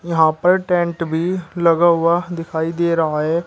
यहां पर टेंट भी लगा हुआ दिखाई दे रहा है।